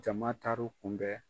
Jama taaru kunbɛn.